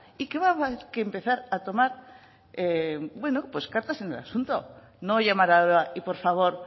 y que va a haber que empezar a tomar cartas en el asunto no llamar y por favor